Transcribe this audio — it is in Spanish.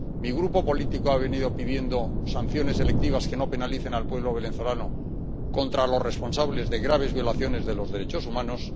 Mi grupo político ha venido pidiendo sanciones selectivas que no penalicen al pueblo venezolano contra los responsables de graves violaciones de los derechos humanos